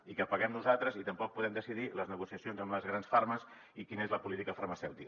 i que ho paguem nosaltres i tampoc podem decidir les negociacions amb les grans farmes i quina és la política farmacèutica